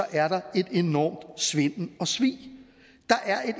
er der en enorm svindel og svig